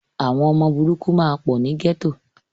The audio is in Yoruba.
Àwọn ọmọ burúkú máa pọ̀ ni gẹ́tò.